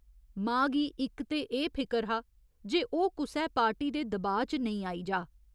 मां गी इक ते एह् फिकर हा जे ओह् कुसै पार्टी दे दबाऽ च नेईं आई जाऽ।